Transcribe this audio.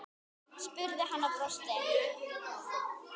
spurði hann og brosti.